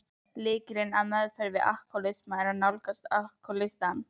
Lykillinn að meðferð við alkohólisma er að nálgast alkohólistann.